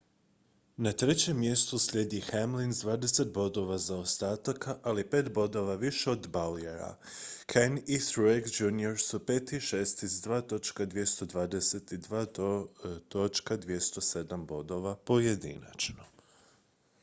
na trećem mjestu slijedi hamlin s dvadeset bodova zaostataka ali pet bodova više od bowyera kahne i truex jr su pet i šesti s 2.220 i 2.207 bodova pojedinačno